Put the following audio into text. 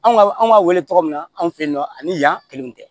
Anw ka an b'a wele tɔgɔ min na anw fɛ yen nɔ ani yan kelenw tɛ